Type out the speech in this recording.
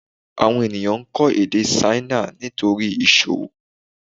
Àwọn ènìyàn ń kọ́ èdè Ṣáínà nítorí ìsòwò